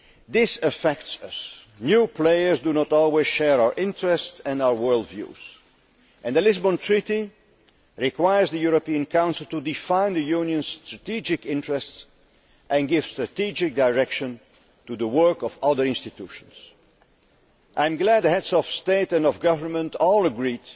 This affects us new players do not always share our interests and our world views. The Lisbon Treaty requires the European Council to define the Union's strategic interests and give strategic direction to the work of other institutions. I am glad the Heads of State or Government all agreed